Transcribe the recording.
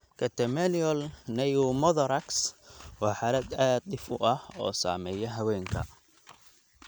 Catamenial pneumothorax waa xaalad aad dhif u ah oo saameeya haweenka.